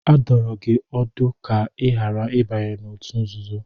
A dụrụ gị ọdụ ka ị ghara ịbanye n'òtù nzuzo.